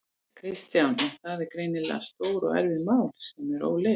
Kristján: En það eru greinilega stór og erfið mál sem eru óleyst?